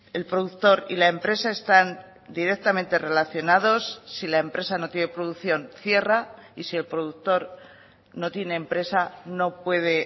el productor y la empresa están directamente relacionados sí la empresa no tiene producción cierra y sí el productor no tiene empresa no puede